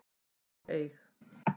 og eig.